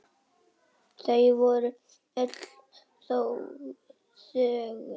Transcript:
Þau voru öll þögul.